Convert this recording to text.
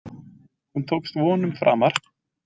Hún tókst vonum framar.